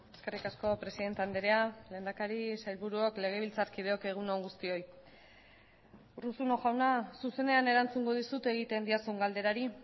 eskerrik asko presidente andrea lehendakari sailburuok legebiltzarkideok egun on guztioi urruzuno jauna zuzenean erantzungo dizut egiten didazun galderari